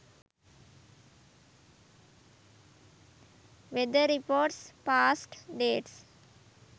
weather reports past dates